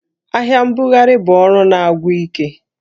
Ahịa mbugharị bụ ọrụ na-agwụ ike